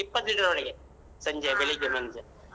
ಒಮ್ಮೆ ಆ ಇಪ್ಪತ್ತ್ liter ವರೆಗೆ